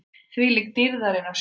ÞVÍLÍK DÝRÐARINNAR SJÓN!